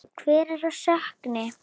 Hver á sökina?